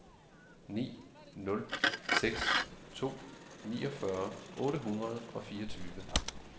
ni nul seks to niogfyrre otte hundrede og fireogtyve